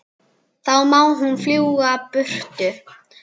Þá má hún fljúga burtu.